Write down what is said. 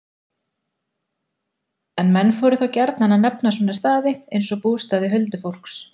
En menn fóru þá gjarnan að nefna svona staði, eins og bústaði huldufólks.